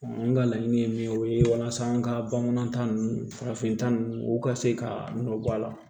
an ka laɲini ye min ye o ye walasa an ka bamanan ta ninnu farafin ta ninnu u ka se ka nɔ bɔ a la